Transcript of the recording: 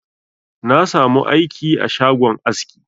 Na sa mu aiki a shagon aski